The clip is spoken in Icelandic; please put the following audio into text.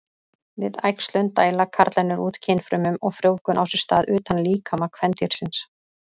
Við æxlun dæla karlarnir út kynfrumum og frjóvgun á sér stað utan líkama kvendýrsins.